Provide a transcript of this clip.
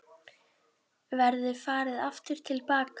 Verður farið aftur til baka?